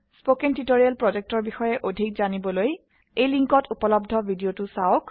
spoken tutorial projectৰ বিষয়ে অধিক জানিবলৈ এই লিঙ্কত উপলব্ধ ভিডিওটো চাওক